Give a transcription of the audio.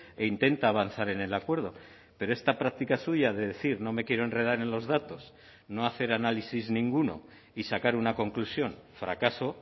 e intenta avanzar en el acuerdo pero esta práctica suya de decir no me quiero enredar en los datos no hacer análisis ninguno y sacar una conclusión fracaso